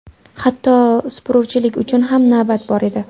Hatto supuruvchilik uchun ham navbat bor edi.